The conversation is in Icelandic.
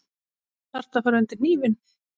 Þarftu að fara undir hnífinn?